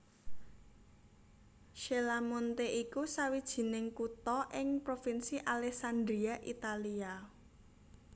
Cella Monte iku sawijining kutha ing Provinsi Alessandria Italia